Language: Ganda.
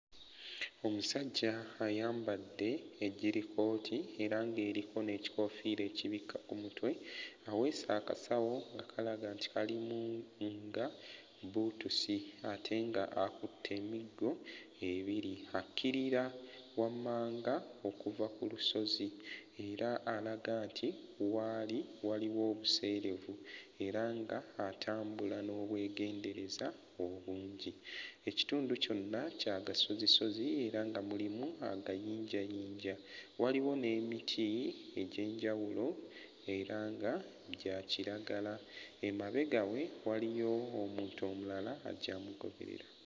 Omusajja ayambadde ejjirikooti era ng'eriko n'ekikoofiira ekibikka ku mutwe aweese akasawo nga kalaga nti kalimu nga bbuutusi ate nga akutte emiggo ebiri akkirira wammanga okuva ku lusozi era alaga nti w'ali waliwo obuseerevu era nga atambula n'obwegendereza obungi ekitundu kyonna kya gasozisozi era nga mulimu agayinjayinja waliwo n'emiti egy'enjawulo era nga gya kiragala emabega we waliyo omuntu omulala ajja amugoberera.